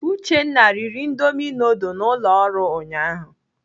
Uchenna riri indomi nudul na ụlọ nri ụnyaahụ.